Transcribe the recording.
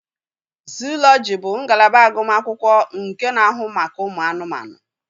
Zuulọji bụ ngalaba agụmakwụkwọ nke na-ahụ maka ụmụ anụmanụ.